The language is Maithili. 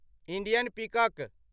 इन्डियन पिकक